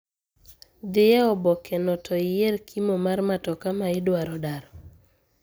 Dhie eobokeno to iyier kimo mar matoka ma idwaro daro